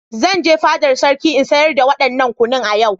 Zan je fadar sarki in sayar da wadannan kunu a yau.